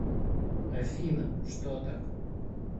афина что так